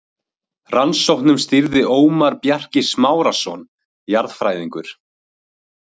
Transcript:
Rannsóknum stýrði Ómar Bjarki Smárason jarðfræðingur.